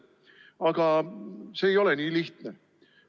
Aga see ei ole nii lihtne.